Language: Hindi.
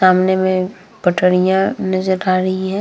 में पटरियां नजर आ रही है।